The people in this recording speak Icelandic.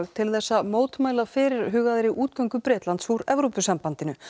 til að mótmæla fyrirhugaðri útgöngu Bretlands úr Evrópusambandinu